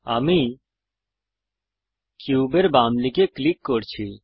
আমি কিউবের বামদিকে ক্লিক করছি